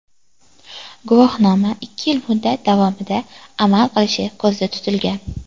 Guvohnoma ikki yil muddat davomida amal qilishi ko‘zda tutilgan.